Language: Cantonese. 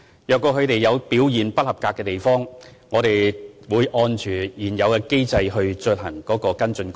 如果他們的表現不合格的地方，我們會按照現有機制進行跟進。